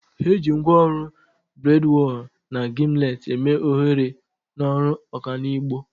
Eji ngwaọrụ bradwal na gimlet eme oghere n'ọrụ ọkanibo.